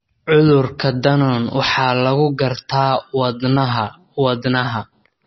Cudurka Danon waxaa lagu gartaa wadnaha wadnaha.